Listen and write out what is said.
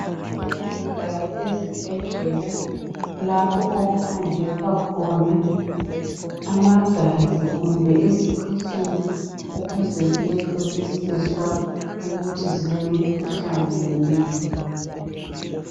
Kulezindawo ezibhedlela lapho okuhanjiswa khona amagazi kumbe izikhwehlela ukuze ziyehlolisiswa ukuthi zilemikhuhlane yini.